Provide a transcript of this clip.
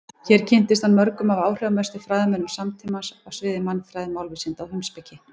Hér kynntist hann mörgum af áhrifamestu fræðimönnum samtímans á sviði mannfræði, málvísinda og heimspeki.